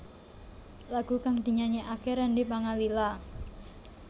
Lagu kang dinyanyékaké Randy Pangalila